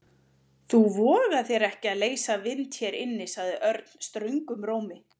Þú vogar þér ekki að leysa vind hér inni sagði Örn ströngum rómi.